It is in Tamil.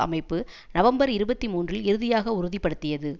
அமைப்பு நவம்பர் இருபத்தி மூன்றில் இறுதியாக உறுதி படுத்தியது